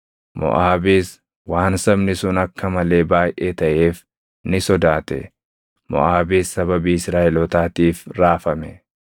Moʼaabis waan sabni sun akka malee baayʼee taʼeef ni sodaate. Moʼaabis sababii Israaʼelootaatiif raafame.